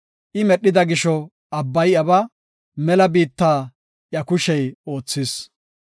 I medhida gisho abbay iyabaa; mela biittaa iya kushey oothis.